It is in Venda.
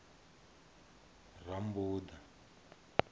rammbuḓa